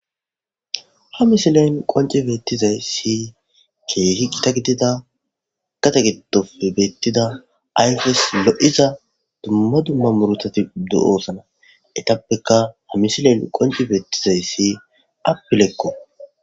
Ha misileyn qonci beettizay si keehi gita gidida gate gitofe beettida ayfes lo'iza dumma dumma murutati do'oosana etappeka ha misilen qonci beettizay si appelekko.